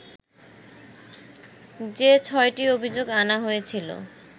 যে ছ’টি অভিযোগ আনা হয়েছিলো